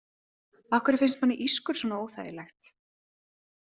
Af hverju finnst manni ískur svona óþægilegt?